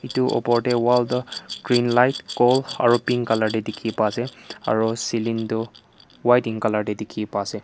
itu opor te wall toh green light gold aro pink color te dikhi pai ase aro ceiling toh white in color te dikhi ase.